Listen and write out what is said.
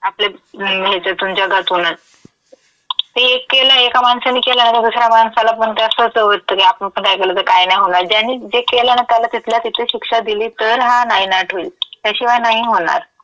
आपल्या जगात होणार. ते एक केलं एका माणसानी केलं आता दुसऱ्या माणसालापण ते असं होतं, वाटतं की आपण पण काय केलं तं काय नाय होणार. ज्यानी जे केलं ना त्याला तिथल्या तिथे शिक्षा दिली तर हा नायनाट होईल, त्याशिवाय नाही होणार.